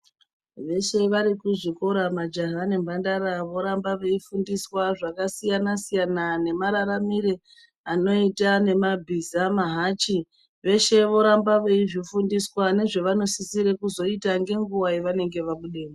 Veshe varikuzvikora majaha nemhandara voramba veifundiswa zvakasiyana siyana nemararamire anoita nemabhiza nemahachi zveshe voramba veizvifundiswa nezvavanosisira kuzoita ngenguwa yevanenge vabudemwo...